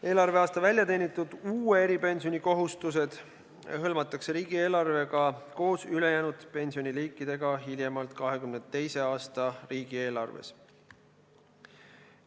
Eelarveaasta väljateenitud uue eripensioni kohustused hõlmatakse riigieelarvega koos ülejäänud pensioniliikidega hiljemalt 2022. aasta riigieelarves.